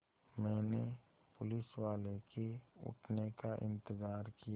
मैंने पुलिसवाले के उठने का इन्तज़ार किया